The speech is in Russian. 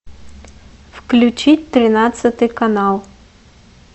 включи тринадцатый канал